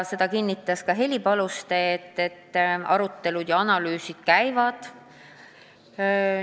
Heli Paluste kinnitas, et arutelud ja analüüsid käivad.